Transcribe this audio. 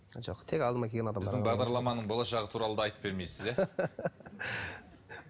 біздің бағдарламаның болашағы туралы да айтып бермейсіз иә